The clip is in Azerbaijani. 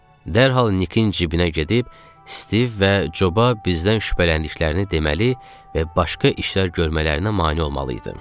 Dərhal Nikin cibinə gedib, Stiv və Coba bizdən şübhələndiklərini deməli və başqa işlər görmələrinə mane olmalıydı.